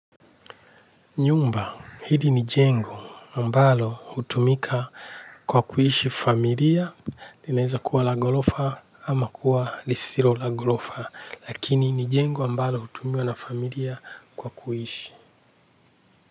Nyumba, hili ni jengo ambalo utumika kwa kuhishi familia, linaeza kuwa la golofa ama kuwa lisilo la golofa, lakini ni jengo ambalo hutumiwa na familia kwa kuhishi.